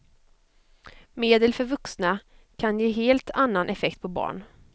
Medel för vuxna kan ge helt annan effekt på barn.